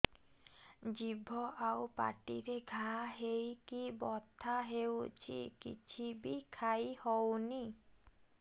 ଜିଭ ଆଉ ପାଟିରେ ଘା ହେଇକି ବଥା ହେଉଛି କିଛି ବି ଖାଇହଉନି